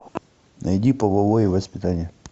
найди половое воспитание